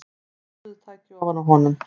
Kassettutæki ofan á honum.